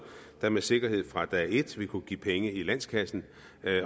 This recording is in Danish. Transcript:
der med sikkerhed fra dag et vil kunne give penge i landskassen